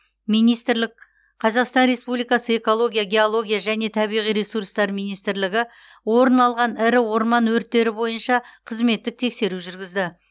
министрік қазақстан республикасы экология геология және табиғи ресурстар министрлігі орын алған ірі орман өрттері бойынша қызметтік тексеру жүргізді